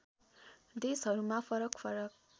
देशहरूमा फरक फरक